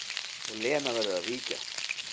Og Lena verður að víkja.